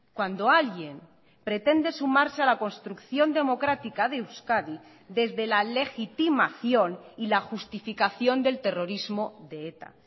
cuando alguien pretende sumarse a la construcción democrática de euskadi desde la legitimación y la justificación del terrorismo de eta